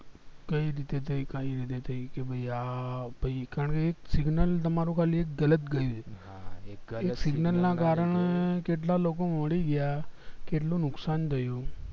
કય રીતે થય કઈ રીતે થય એ બી આ ભય કારણકે એક signal તમારું ગલત ગયું છે એક signal ના કરને ને કેટલા બધા લોકો મરી ગયા કેટલું નુકસાન થયું